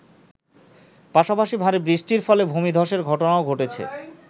পাশাপাশি ভারী বৃষ্টির ফলে ভূমিধ্বসের ঘটনাও ঘটেছে।